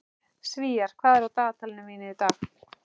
Sívar, hvað er á dagatalinu mínu í dag?